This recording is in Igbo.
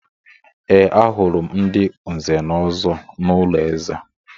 Ee, ahụrụ m ndị Nze na Ọzọ n’ụlọ eze.